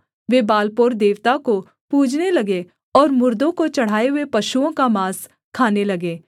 वे Baal Peor देवता को पूजने लगे और मुर्दों को चढ़ाए हुए पशुओं का माँस खाने लगे